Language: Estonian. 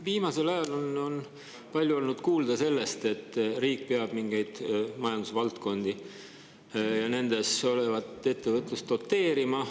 Viimasel ajal on palju olnud kuulda sellest, et riik peab mingeid majandusvaldkondi ja sealset ettevõtlust doteerima.